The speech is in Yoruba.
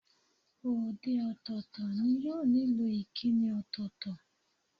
Òdè ọ̀tọ̀ọ̀tọ̀ ni yóò nílò ìkíni ọ̀tọ̀ọ̀tọ̀.